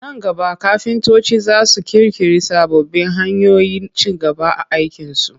A nan gaba kafintoci za su ƙirƙiri sababbin hanyoyin ci gaba a aikinsu